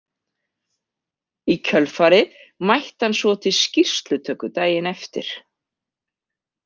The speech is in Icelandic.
Í kjölfarið mætti hann svo til skýrslutöku daginn eftir.